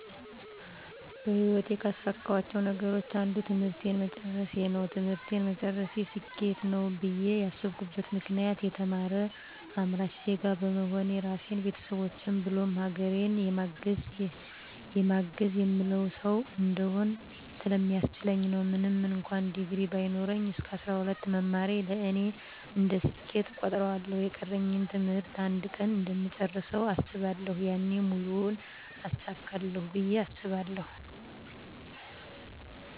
በህይወቴ ካሳካኋቸው ነገሮች አንዱ ትምህርቴን መጨረሴ ነው። ትምህርቴን መጨረሴ ስኬት ነው ብዬ ያስብኩበት ምክንያት የተማረ አምራች ዜጋ በመሆን ራሴን፣ ቤተሰቦቼን ብሎም ሀገሬን የማግዝ፣ የምለውጥ ሠው እንድሆን ስለሚያስችለኝ ነው። ምንም እንኩአን ዲግሪ ባይኖረኝ እስከ 12 መማሬ ለእኔ እንደ ስኬት እቆጥረዋለሁ። የቀረኝን ትምህርት አንድ ቀን እንደምጨርሰው አስባለሁ። ያኔ ሙሉውን አሳካለሁ ብየ አስባለሁ።